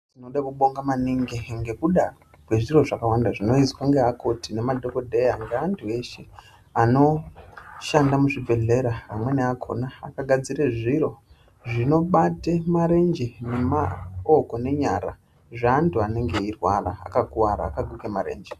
Tinoda kubonga maningi ngekuda kwezviro zvakawanda zvinoizwa nge akoti nema dhokodheya ngeantu eshe anoshanda muzvibhedhlera amweni akona akagadzira zviro zvinobate marenje nemaoko nenyarazve antu anenge eyirwara akakuvara akaguka marenje.